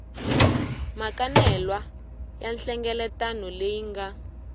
makanelwa ya nhlengeletano leyi nga